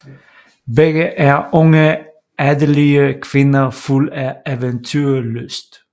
Begge er unge adelige kvinder fuld af eventyrlyst